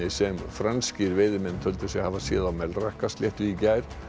sem franskir veiðimenn töldu sig hafa séð á Melrakkasléttu í gær